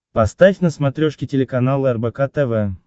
поставь на смотрешке телеканал рбк тв